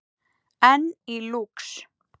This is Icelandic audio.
Enn í Lúx